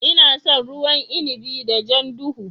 Ina son ruwan inibi da jan duhu.